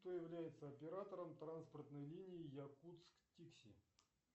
кто является оператором транспортной линии якутск тикси